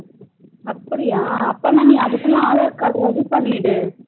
அப்டியா அப்பனா நீ அதுக்குள்ள aadhar card ready பண்ணிடு